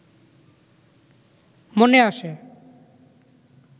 মনে আসে